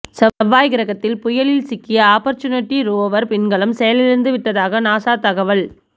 செவ்வாய் கிரகத்தில் புயலில் சிக்கிய ஆபர்ச்சுனிட்டி ரோவர் விண்கலம் செயலிழந்து விட்டதாக நாசா தகவல்